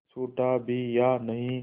छूटा भी या नहीं